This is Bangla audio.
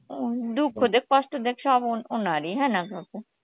দুক্ষ দেয় কষ্ট দেয় সব ওনার ই হ্যাঁ না কাকু?